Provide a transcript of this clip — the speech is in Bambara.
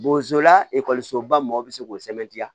Bozola ekɔlisoba mɔgɔw bɛ se k'o sɛbɛntiya